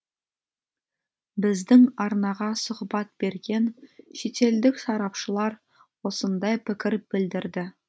біздің арнаға сұхбат берген шетелдік сарапшылар осындай пікір білдірді